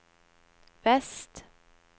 vest